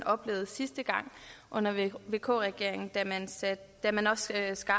oplevede sidste gang under vk regeringen da man også skar